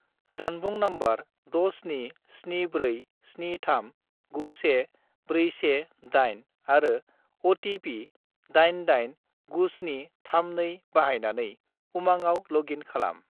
जानबुं नम्बर 67747391418 आरो अ.टि.पि. 889732 बाहायनानै उमांआव लग इन खालाम।